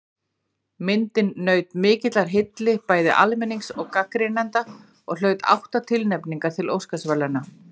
Myndin naut mikillar hylli bæði almennings og gagnrýnenda og hlaut átta tilnefningar til Óskarsverðlauna.